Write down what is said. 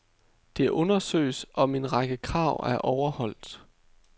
Det undersøges, om en række krav er overholdt.